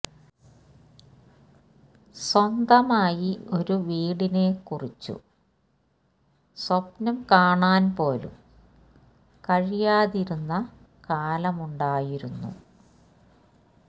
സ്വന്തമായി ഒരു വീടിനെ കുറിച്ചു സ്വപ്നം കാണാൻ പോലും കഴിയാതിരുന്ന കാലമുണ്ടായിരുന്നു